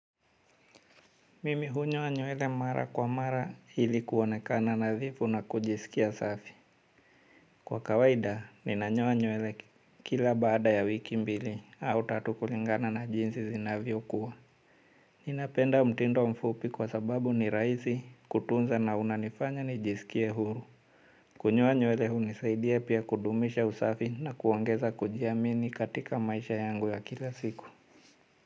Mimi hunyoa nywele mara kwa mara ili kuonekana nadhifu na kujisikia safi. Kwa kawaida, ninanyoa nywele kila baada ya wiki mbili au tatu kulingana na jinsi zinavyokuwa. Ninapenda mtindo mfupi kwa sababu ni rahisi kutunza na unanifanya nijisikie huru. Kunyoa nywele hunisaidia pia kudumisha usafi na kuongeza kujiamini katika maisha yangu ya kila siku.